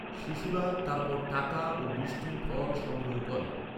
শিশুরা তারপর টাকা ও মিষ্টি ফল সংগ্রহ করে।